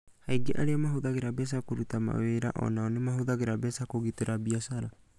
Aingĩ arĩa mahũthagĩra mbeca kũruta mawĩra o nao nĩ mahũthagĩra mbeca kũgitĩra biacara.